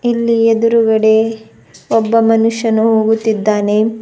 ಇಲ್ಲಿ ಎದುರಗಡೆ ಒಬ್ಬ ಮನುಷ್ಯನು ಹೋಗುತ್ತಿದ್ದಾನೆ.